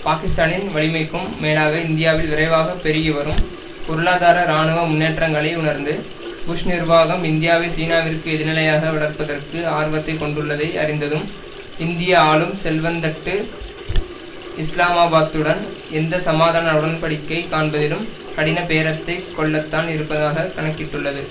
பாகிஸ்தானின் வலிமைக்கும் மேலாக இந்தியாவில் விரைவாக பெருகிவரும் பொருளாதார இராணுவ முன்னேற்றங்களை உணர்ந்து புஷ் நிர்வாகம் இந்தியாவை சீனாவிற்கு எதிர்நிலையாக வளர்ப்பதற்கு ஆர்வத்தை கொண்டுள்ளதை அறிந்ததும் இந்திய ஆளும் செல்வந்தட்டு இஸ்லாமாபாத்துடன் எந்த சமாதான உடன் படிக்கை காண்பதிலும் கடின பேரத்தை கொள்ளத்தான் இருப்பதாக கணக்கிட்டுள்ளது